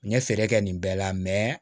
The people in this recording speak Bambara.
N ye feere kɛ nin bɛɛ la